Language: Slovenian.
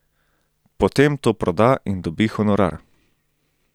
Potem to proda in dobi honorar.